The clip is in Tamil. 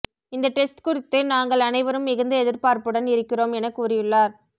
இந்த டெஸ்ட் குறித்து நாங்கள் அனைவரும் மிகுந்த எதிர்பார்ப்புடன் இருக்கிறோம் என கூறியுள்ளார்